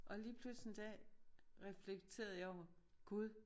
Og lige pludselig en dag reflekterede jeg over Gud